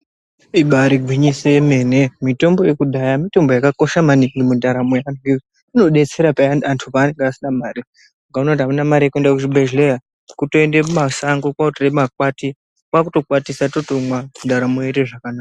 Ibari gwinyiso remene mitombo yekudhaya mitombo yakakosha maningi mundaramo Inodetsera mangingi paya vanhu pavanenge vasina mari ukaona kuti Haina mare yekuenda kuzvibhehleya kutoenda mumashango kotora makwati kwakuto kwatisa kwakumwa ndaramo yotoenda mberi ndaramo yoita zvakanaka